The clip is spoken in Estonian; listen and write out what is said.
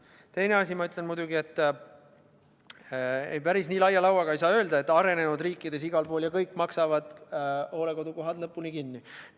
Teise asjana ütlen ma muidugi seda, et ei, päris nii laia lauaga ei saa lüüa, et igal pool arenenud riikides makstakse hooldekodukohad täielikult kinni.